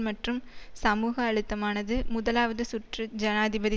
மற்றும் சமூக அழுத்தமானது முதலாவது சுற்று ஜனாதிபதி